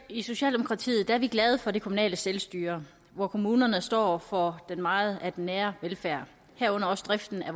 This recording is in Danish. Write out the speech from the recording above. i socialdemokratiet er vi glade for det kommunale selvstyre hvor kommunerne står for meget af den nære velfærd herunder også driften af